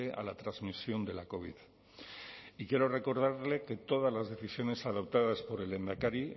a la transmisión de la covid y quiero recordarle que todas las decisiones adoptadas por el lehendakari